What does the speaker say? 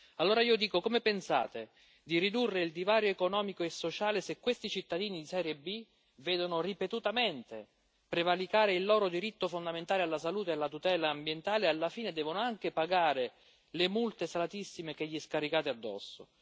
Allora io chiedo come pensate di ridurre il divario economico e sociale, se questi cittadini di serie B vedono ripetutamente prevaricare il loro diritto fondamentale alla salute e alla tutela ambientale e alla fine devono anche pagare le multe salatissime che gli scaricate addosso.